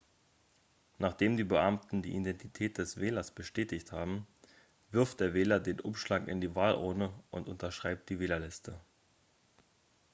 nachdem die beamten die identität des wählers bestätigt haben wirft der wähler den umschlag in die wahlurne und unterschreibt die wählerliste